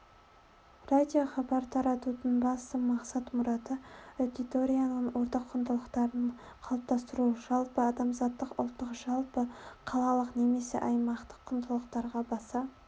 радиохабар таратудың басты мақсат-мұраты аудиторияның ортақ құндылықтарын қалыптастыру жалпыадамзаттық ұлттық жалпы қалалық немесе аймақтық құндылықтарға баса